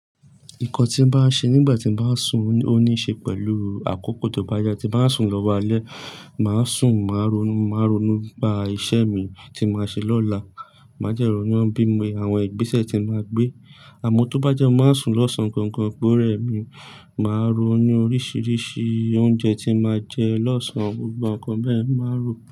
Nǹkan tí mo bá ṣe nígbà tí mo bá sùn, ó ní í ṣe pẹ̀lú àkókò tó bá yá tí mo bá sùn lọ́wọ́ alẹ́, màá sùn, màá ronú, màá ronú bá iṣẹ́ mi tí màá ṣe lọ́la, màá jẹ́ròó níwọ́n bí àwọn ìgbésẹ̀ tí mo máa gbé. Àmọ́ tó bá jẹ́ mo máa sùn lọ́sàn-án ganan, pe ore mi, màá ronú oríṣiríṣi oúnjẹ tí màá jẹ lọ́sàn, gbogbo nǹkan bẹ́ẹ̀ màá rò.